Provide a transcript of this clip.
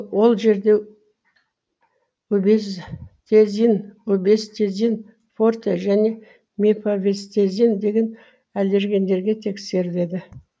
ол жерде убестезин убестезин форте және мепивастезин деген аллергендерге тексереледі